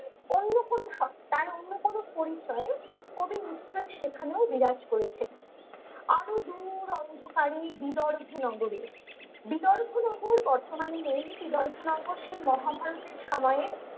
অন্য কোনো সত্তার অন্য কোনো পরিচয়ে কবি নিশ্চয় সেখানেও বিরাজ করেছেন আরো দূর অন্ধকারে বিদর ভুনগরে বিদর ভুনগর বর্তমানে নেই বিদর ভুনগর সেই মহাভারতের সময়ে